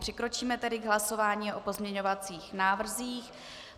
Přikročíme tedy k hlasování o pozměňovacích návrzích.